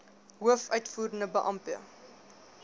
hoof uitvoerende beampte